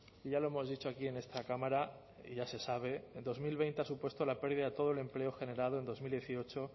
y ya lo hemos dicho aquí en esta cámara y ya se sabe dos mil veinte ha supuesto la pérdida de todo el empleo generado en dos mil dieciocho